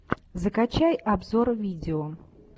закачай обзор видео